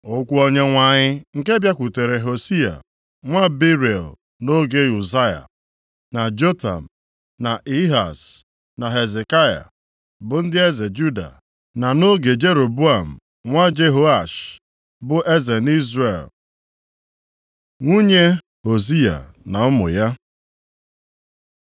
Okwu Onyenwe anyị nke bịakwutere Hosiya nwa Beiri nʼoge Uzaya, na Jotam, na Ehaz, na Hezekaya, bụ ndị eze Juda, na nʼoge Jeroboam nwa Jehoash bụ eze nʼIzrel. Nwunye Hosiya na ụmụ ya